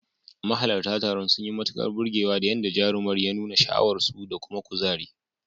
Mahalarta taron sun yi matukar burgewa da yadda jarumar ya nuna sha'awarsu da kuma kuzari.